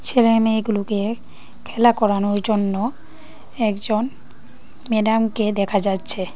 ছেলেমেয়েগুলোকে খেলা করানোর জন্য একজন ম্যাডামকে দেখা যাচ্ছে।